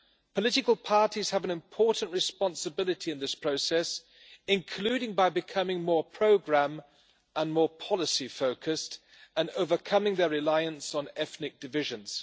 Political parties have an important responsibility in this process, including by becoming more programme and more policy focused, and overcoming their reliance on ethnic divisions.